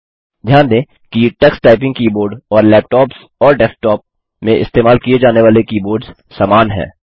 ध्यान दें कि टक्स टाइपिंग कीबोर्ड और लैपटॉप्स और डेस्कटॉप में इस्तेमाल किये जाने वाले कीबोर्ड्स समान हैं